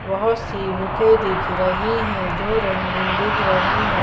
बहुत सी बुकें दिख रही हैं जो रंगीन दिख रही हैं।